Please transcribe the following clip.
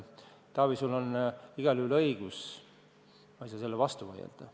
Taavi, sul on igal juhul õigus, ma ei saa sellele vastu vaielda.